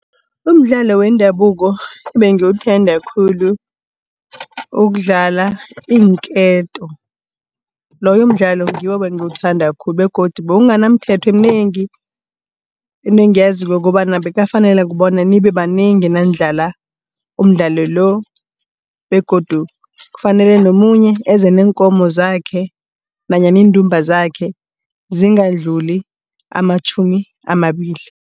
Umdlalo wendabuko ebengiwuthanda khulu, ukudlala iinketo. Loyo mdlalo ngiwo ebangiwuthanda khulu begodu bewungana mithetho eminengi. Into engiyaziko kukobana bekungakafaneli bona nibe banengi nanidlala umdlalo lo begodu kufanele nomunye eze neenkomo zakhe nanyana iindumba zakhe zingadluli amatjhumi amabili.